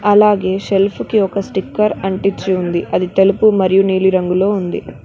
అలాగే షెల్ఫ్ కి ఒక స్టిక్కర్ అంటిచ్చి ఉంది అది తెలుపు మరియు నీలి రంగులో ఉంది.